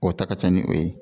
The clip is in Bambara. O ta ka ca ni o ye